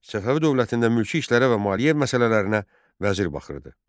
Səfəvi dövlətində mülki işlərə və maliyyə məsələlərinə vəzir baxırdı.